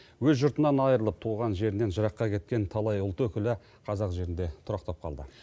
өз жұртынан айырылып туған жерінен жыраққа кеткен талай ұлт өкілі қазақ жерінде тұрақтап қалды